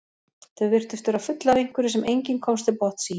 Þau virtust vera full af einhverju sem enginn komst til botns í.